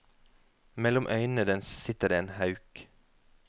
Mellom øynene dens sitter det en hauk.